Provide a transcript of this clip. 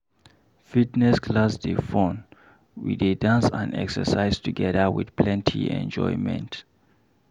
Fitness class dey fun, we dey dance and exercise together with plenty enjoyment.